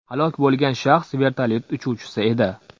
Halok bo‘lgan shaxs vertolyot uchuvchisi edi.